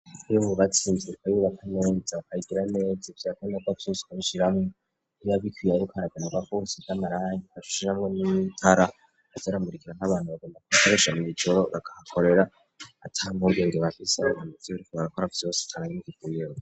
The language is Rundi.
Iyo mu batsinzirwa yubakamenza bayigira neza ivyakondako avyusanshiramwo nibabikwiye arukaragana bakusi damarayagi bashusjamwo n'iitara azaramurikira nk'abantu bagondako bakarishamye ijoro bakaakorera atamkubwabiro bavise gnanaziburiko bagakora vyose tarangikikuyeho.